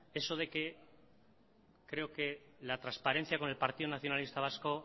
eso de que creo que la transparencia con el partido nacionalista vasco